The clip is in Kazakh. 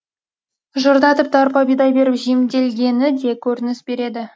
жырда тіпті арпа бидай беріп жемделгені де көрініс береді